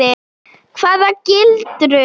Hvaða gildru?